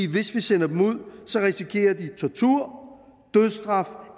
hvis vi sender dem ud risikerer de tortur dødsstraf